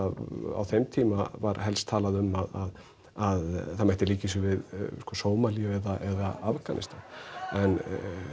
á þeim tíma var helst talað um að að það mætti líkja þessu við Sómalíu eða Afganistan en